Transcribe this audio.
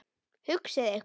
Hugsið ykkur.